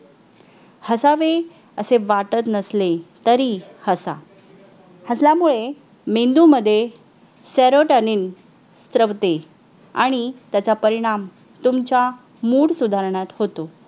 save असे वाटत नसले तरी हसा हसल्यामुळे मेंदू मध्ये SEROTONIN श्रवते आणि त्याचा परिणाम तुमचा मूड सुधारणात होतो